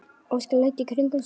Óskar leit í kringum sig.